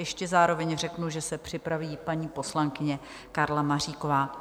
Ještě zároveň řeknu, že se připraví paní poslankyně Karla Maříková.